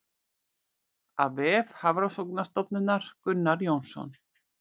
Af vef Hafrannsóknastofnunar Gunnar Jónsson.